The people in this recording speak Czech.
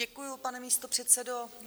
Děkuji, pane místopředsedo.